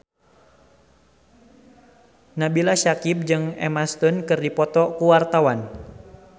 Nabila Syakieb jeung Emma Stone keur dipoto ku wartawan